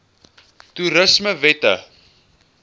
toerismewette